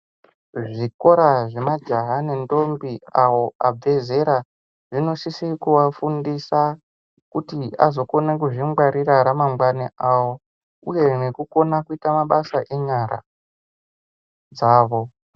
Zvikora zvemajaya nendombi awo abve zera, zvinosise kuvafundisa kuti azokone kuzvingwarira ramangwani avo uye nekukona kuita mabasa enyara dzavo.